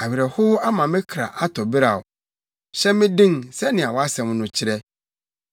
Awerɛhow ama me kra atɔ beraw; hyɛ me den sɛnea wʼasɛm no kyerɛ.